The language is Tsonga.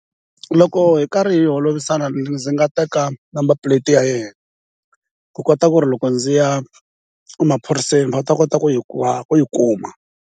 Loko hi karhi hi holovisana ndzi nga teka number plate ya yena ku kota ku ri loko ndzi ya emaphoriseni va ta kota ku yi ku yi kuma.